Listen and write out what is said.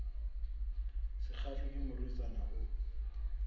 sa kgahlwe ke morwetsana o